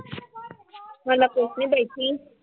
ਪਈ ਸੀ।